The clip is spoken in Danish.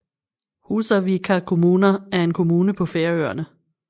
Húsavíkar kommuna er en kommune på Færøerne